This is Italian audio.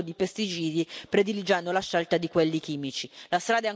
La strada è ancora lunga da fare ma oggi abbiamo senz'altro fatto un passo in avanti.